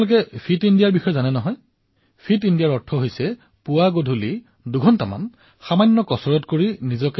আপোলোকৰ fit ইণ্ডিয়াৰ কথা মনত আছে নে ফিট ইণ্ডিয়াৰ অৰ্থ এয়া নহয় যে পুৱাসন্ধিয়া দুইদুই ঘণ্টা জিমলৈ গলে হৈ যাব